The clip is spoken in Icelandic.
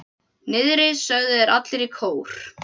Niðri, sögðu þeir allir í kór.